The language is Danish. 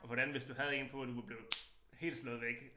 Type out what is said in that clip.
Og for det andet hvis du havde 1 på du var blevet helt slået væk